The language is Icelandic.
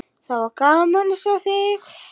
Það var gaman að sjá þig!